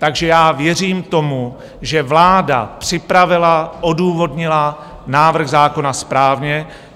Takže já věřím tomu, že vláda připravila, odůvodnila návrh zákona správně.